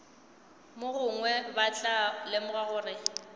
mogongwe ba tla lemoga gore